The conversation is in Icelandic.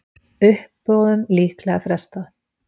Uppboðum líklega frestað